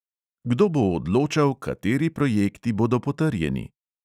Kdo bo odločal, kateri projekti bodo potrjeni?